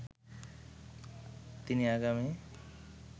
তিনি আগামি